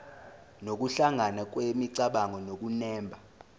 nokuhlangana kwemicabango nokunemba